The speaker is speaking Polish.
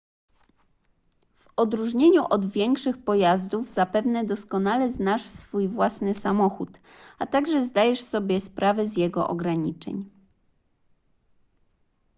w odróżnieniu od większych pojazdów zapewne doskonale znasz swój własny samochód a także zdajesz sobie sprawę z jego ograniczeń